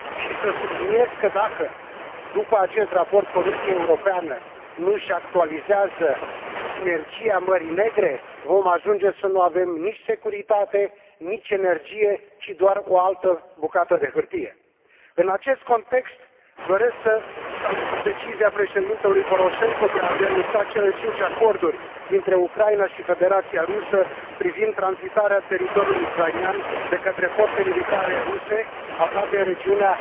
Și să subliniez că, dacă după acest raport Comisia Europeană nu își actualizează Sinergia Mării Negre, vom ajunge să nu avem nici securitate, nici energie ci doar o altă bucată de hârtie. În acest context, doresc să salut decizia președintelui Poroșenko de a denunța cele cinci acorduri dintre Ucraina și Federația Rusă privind tranzitarea teritoriul ucrainean de către forțe militare ruse aflate în regiunea